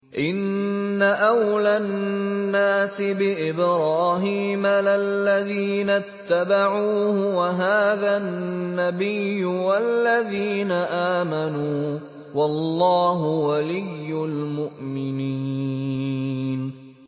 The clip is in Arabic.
إِنَّ أَوْلَى النَّاسِ بِإِبْرَاهِيمَ لَلَّذِينَ اتَّبَعُوهُ وَهَٰذَا النَّبِيُّ وَالَّذِينَ آمَنُوا ۗ وَاللَّهُ وَلِيُّ الْمُؤْمِنِينَ